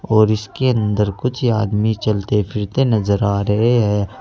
और इसके अंदर कुछ आदमी चलते फिरते नजर आ रहे हैं।